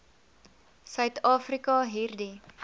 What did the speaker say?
suid afrika hierdie